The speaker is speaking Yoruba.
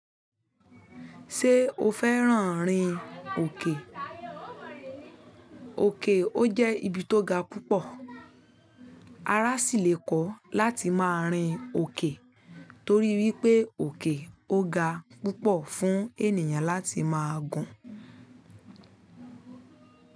Ṣé o fẹ́ràn rin òkè? Oke ó jẹ́ ibi to ga púpọ̀. Ara sì lè kọ́ láti máa rin òkè torí wípé òkè ó ga púpọ̀ fún ènìyàn láti máa gun.